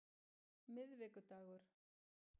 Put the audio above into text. miðvikudagur